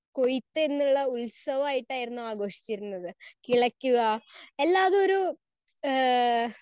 Speaker 1 കൊയ്ത്ത് എന്നുള്ള ഉത്സവം ആയിട്ടായിരുന്നു ആഘോഷിച്ചിരുന്നത്. കിളയ്ക്കുക എല്ലാം അതൊരു ആഹ്‌